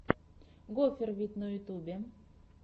гофер вид на ютубе